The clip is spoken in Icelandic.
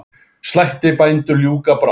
Slætti bændur ljúka brátt.